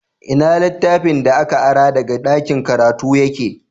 Ina littafin da ka ara daga ɗakin karatu yake?